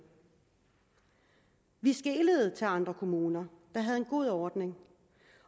vi skelede til andre kommuner der havde en god ordning